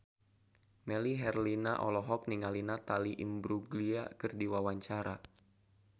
Melly Herlina olohok ningali Natalie Imbruglia keur diwawancara